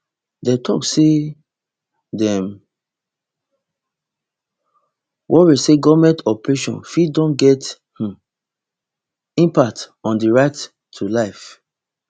dem tok say dem worry say goment operation fit don get um impact on di right to life